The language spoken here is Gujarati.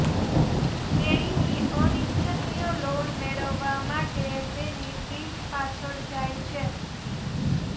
તેણીની અનિચ્છનીય લોન મેળવવા માટે તેની પીઠ પાછળ જાય છે